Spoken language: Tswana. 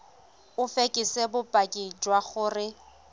o fekese bopaki jwa gore